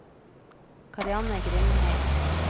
Karianne Grindheim